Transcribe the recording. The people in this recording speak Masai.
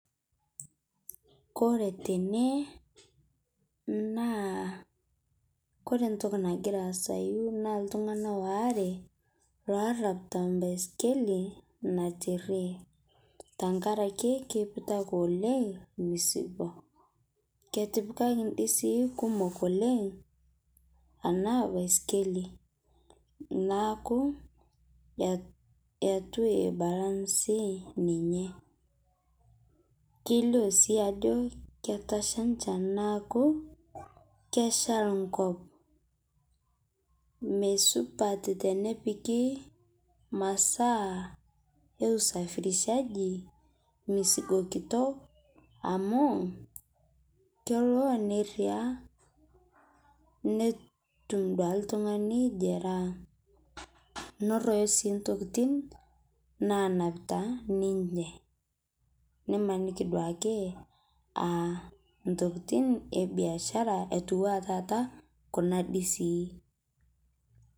Kore tene naa kore ntokii nagira aasayu naa ltung'ana oare oraapita mbaskeli naiteriee. Tang'araki keiputakii oleng mzigo. Ketipikaki ndisii kumook oleng ana baiskeli naaku etuu ebalansii ninyee. Keiloo sii ajoo ketashaa nchaan naaku keishaal nkop. Mee supaat tenepiiki masaa e usafirishaji mzigo kitook amu keloo neeria netuum duake ltung'ani jeraha [cs , norooyo sii ntokitin naanapita ninyee. Nimanikii duake aa ntokitin ebiashara etua tata kuna ndisii.